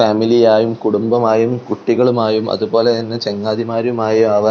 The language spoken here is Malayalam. ഫാമിലിയായും കുടുംബമായും കുട്ടികളുമായും അതുപോലെതന്നെ ചങ്ങാതിമാരും ആയും ആ--